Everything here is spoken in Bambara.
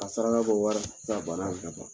Ka saraka bɔ walisa bana bɛ ka ban.